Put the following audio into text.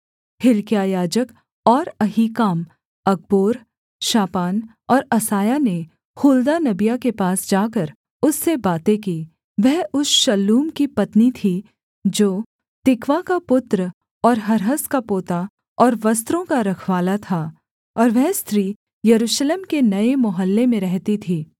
हिल्किय्याह याजक और अहीकाम अकबोर शापान और असायाह ने हुल्दा नबिया के पास जाकर उससे बातें की वह उस शल्लूम की पत्नी थी जो तिकवा का पुत्र और हर्हस का पोता और वस्त्रों का रखवाला था और वह स्त्री यरूशलेम के नये मोहल्ले में रहती थी